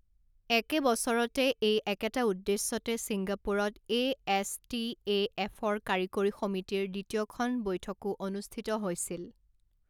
একে বছৰতে এই একেটা উদ্দেশ্যতে ছিংগাপুৰত এ.এছ.টি.এ.এফ.ৰ কাৰিকৰী সমিতিৰ দ্বিতীয়খন বৈঠকো অনুষ্ঠিত হৈছিল।